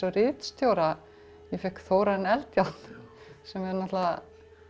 ritstjóra ég fékk Þórarin Eldjárn sem náttúrulega